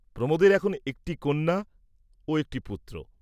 প্রমোদের এখন একটি কন্যা ও একটি পুত্র।